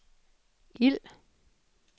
ild